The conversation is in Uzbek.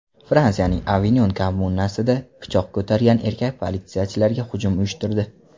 Fransiyaning Avinyon kommunasida pichoq ko‘targan erkak politsiyachilarga hujum uyushtirdi.